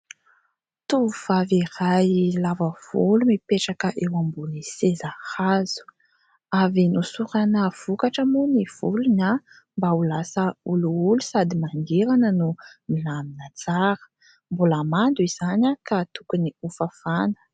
Tovovavy iray lava volo mipetraka eo ambony seza hazo, avy nosorana vokatra moa ny volony mba ho lasa olioly sady mangirana no milamina tsara, mbola mando izany ka tokony ho fafana.